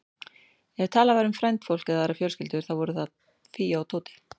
Ef talað var um frændfólk eða aðrar fjölskyldur, þá voru það Fía og Tóti.